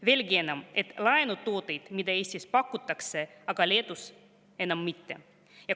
Veelgi enam, on ka laenutooteid, mida Eestis pakutakse, aga Leedus enam mitte.